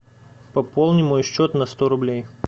пополни мой счет на сто рублей